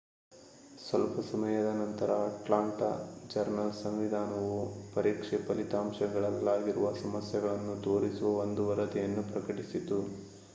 ಸ್ವಲ್ಪ ಸಮಯದ ನಂತರ ಅಟ್ಲಾಂಟಾ ಜರ್ನಲ್ ಸಂವಿಧಾನವು ಪರೀಕ್ಷೆ ಫಲಿತಾಂಶಗಳಲ್ಲಾಗಿರುವ ಸಮಸ್ಯೆಗಳನ್ನು ತೋರಿಸುವ ಒಂದು ವರದಿಯನ್ನು ಪ್ರಕಟಿಸಿತು